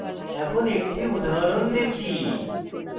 এখন একটি উদাহরণ দেখি